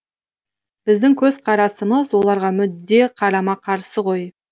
біздің көзқарасымыз оларға мүдде қарама қарсы ғой